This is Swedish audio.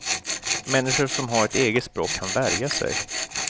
Människor som har ett eget språk kan värja sig.